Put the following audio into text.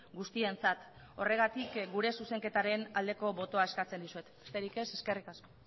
guztientzat horregatik gure zuzenketaren aldeko botoa eskatzen dizuet besterik ez eskerrik asko